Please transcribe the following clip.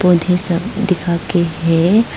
और ढेर सारे दिखा के हैं।